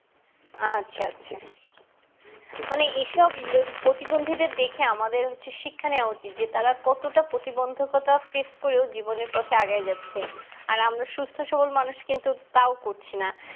আচ্ছা আচ্ছা মানে আসন প্রতিবন্দি দের দেখে আমাদের হচ্ছে শিক্ষা নিয়ে উচিত তারা কতটা প্রতিবন্দকতা face করাও জীবনের পথে আগেই যাচ্ছে আর আমরা সুস্থ সবল মানুষ কিন্তু তাও করছিনা